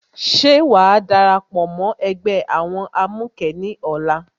Ṣé wàá darapọ̀ mó ẹgbẹ́ àwọn amukẹ ní ọ̀la?